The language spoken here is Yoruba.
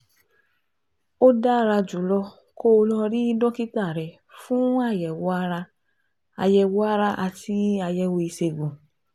Ó dára jùlọ kó o lọ rí dókítà rẹ fún àyẹ̀wò ara àyẹ̀wò ara àti àyẹ̀wò ìṣègùn